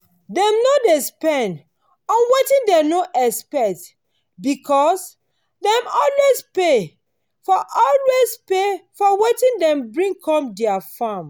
dem no dey spend on wetin dem no expect because dem dey always pay for always pay for wetin dem bring com their farm.